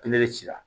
ci la